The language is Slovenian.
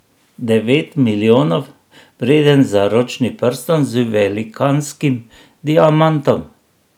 Devet milijonov vreden zaročni prstan z velikanskim diamantom.